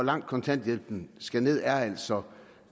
langt kontanthjælpen skal ned er altså